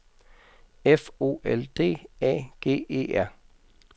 F O L D A G E R